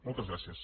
moltes gràcies